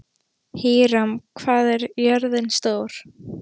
Híram, hvað er jörðin stór?